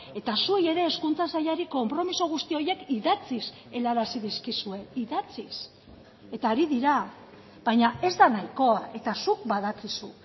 eta zuei ere hezkuntza sailari konpromiso guzti horiek idatziz helarazi dizkizue idatziz eta ari dira baina ez da nahikoa eta zuk badakizu